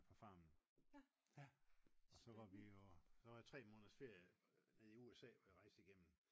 på farmen og så vi jo så var jeg 3 måneders ferie nede i USA hvor jeg rejste igennem